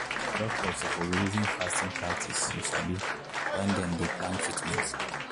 doctors suppose reason fasting practice you sabi when dem dey plan treatment.